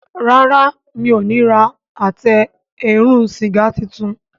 Ràrá o mi'o ní rà Àtẹ eérún sìgá títún.